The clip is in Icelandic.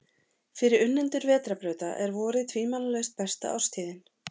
Fyrir unnendur vetrarbrauta er vorið tvímælalaust besta árstíðin.